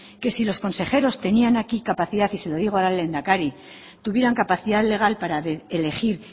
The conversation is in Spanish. que si los consejeros y se lo digo ahora al lehendakari tuvieran capacidad legal para elegir